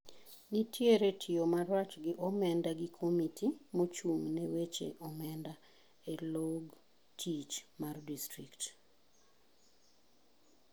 Nitiere tiyo marach gi omenda gi komiti moching ne weche omenda e log tich mar distrikt.